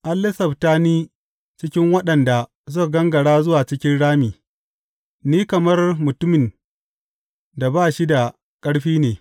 An lissafta ni cikin waɗanda suka gangara zuwa cikin rami; ni kamar mutumin da ba shi da ƙarfi ne.